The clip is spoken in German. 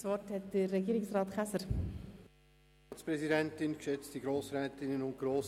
Nun erteile ich dem Polizei- und Militärdirektor das Wort.